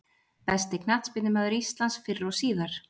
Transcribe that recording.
Besti knattspyrnumaður íslands fyrr og síðar?